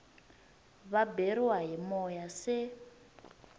va beriwa hi moya se